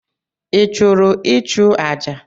I chụrụ ịchụ aja?